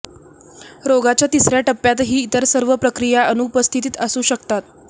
रोगाच्या तिसऱ्या टप्प्यातही इतर सर्व प्रकिया अनुपस्थित असू शकतात